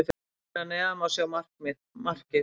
Hér að neðan má sjá markið.